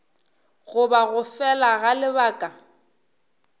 goba go fela ga lebaka